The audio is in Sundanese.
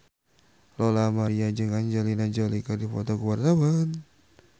Lola Amaria jeung Angelina Jolie keur dipoto ku wartawan